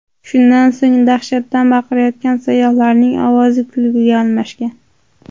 Shundan so‘ng dahshatdan baqirayotgan sayyohlarning ovozi kulguga almashgan.